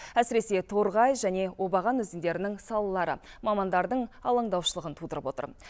әсіресе торғай және обаған өзендерінің салалары мамандардың алаңдаушылығын тудырып отыр